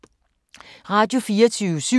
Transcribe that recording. Radio24syv